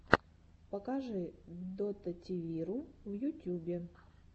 покажи дотативиру в ютюбе